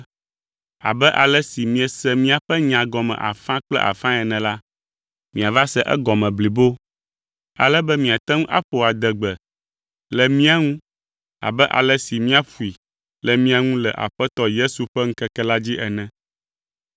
abe ale si miese míaƒe nya gɔme afã kple afãe ene la, miava se egɔme blibo ale be miate ŋu aƒo adegbe le mía ŋu abe ale si míaƒoe le mia ŋu le Aƒetɔ Yesu ƒe ŋkeke la dzi ene.